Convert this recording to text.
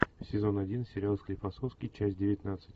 сезон один сериал склифосовский часть девятнадцать